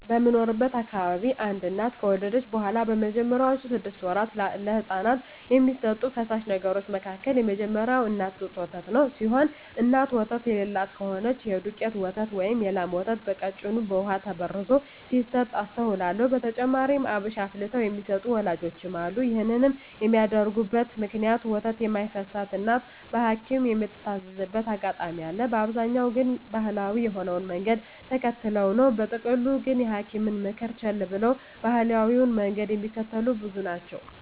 በምኖርበት አካባቢ አንድ እናት ከወለደች በኋላ በመጀመሪያወቹ ስድስት ወራት ለህጻናት ከሚሰጡ ፈሳሽ ነገሮች መካከል የመጀመሪያው የእናት ጡት ወተት ሲሆን እናት ወተት የለላት ከሆነች የዱቄት ወተት ወይም የላም ወተት በቀጭኑ በውሃ ተበርዞ ሲሰጥ አስተውላለው። በተጨማሪም አብሽ አፍልተው የሚሰጡ ወላጆችም አሉ። ይህን የሚያደርጉበት ምክንያት ወተት የማይፈስላት እናት በሀኪምም ምትታዘዝበት አጋጣሚ አለ፤ በአብዛኛው ግን ባሀላዊ የሆነውን መንገድ ተከትለው ነው። በጥቅሉ ግን የሀኪምን ምክር ቸለል ብለው ባሀላዊውን መንገድ ሚከተሉ ብዙ ናቸው።